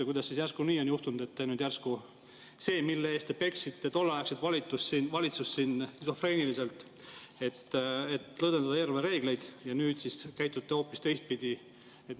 Kuidas siis järsku nii on juhtunud, et see, mille eest te peksite tolleaegset valitsust siin skisofreeniliselt – eelarvereeglite lõdvendamise eest –, siis nüüd käitute hoopis teistpidi?